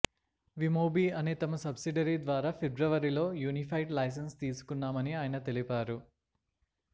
విమొబి అనే తమ సబ్సిడరీ ద్వారా ఫిబ్రవరిలో యూనిఫైడ్ లెసైన్స్ తీసుకున్నామని ఆయన తెలిపారు